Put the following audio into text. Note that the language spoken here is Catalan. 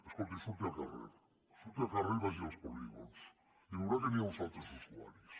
escolti surti al carrer surti al carrer i vagi als polígons i veurà que hi ha uns altres usuaris